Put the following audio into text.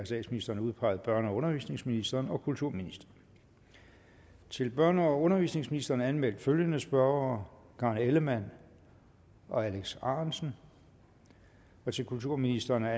statsministeren udpeget børne og undervisningsministeren og kulturministeren til børne og undervisningsministeren anmeldt følgende spørgere karen ellemann alex arendtsen til kulturministeren er